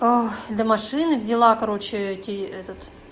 а до машины взяла короче эти этот